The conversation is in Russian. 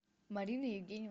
марина евгеньевна